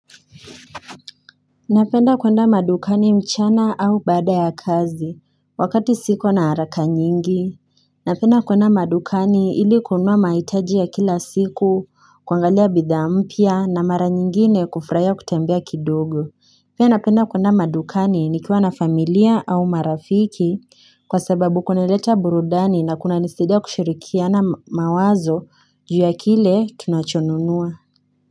Napenda kuenda madukani mchana au bada ya kazi, wakati siko na haraka nyingi. Napenda kuenda madukani ili kunwa maitaji ya kila siku, kuangalia bidha mpia na mara nyingine kufraya kutembea kidogo. Pia napenda kuenda madukani nikiwa na familia au marafiki kwa sababu kunaleta burudani na kunanisidia kushirikia na mawazo ju ya kile tunachonunua.